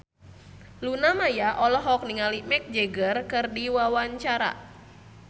Luna Maya olohok ningali Mick Jagger keur diwawancara